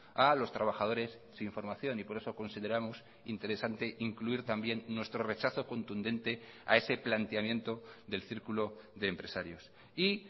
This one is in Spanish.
a los trabajadores sin formación y por eso consideramos interesante incluir también nuestro rechazo contundente a ese planteamiento del círculo de empresarios y